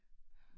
Ja